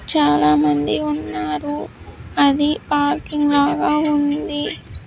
చాలామంది ఉన్నారు అది పార్కింగ్ లాగా ఉంది.